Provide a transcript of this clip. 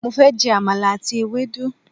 Mo fẹ́ je àmàlà àti ewédú